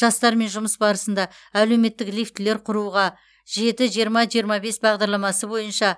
жастармен жұмыс барысында әлеуметтік лифтілер құруға жеті жиырма жиырма бес бағдарламасы бойынша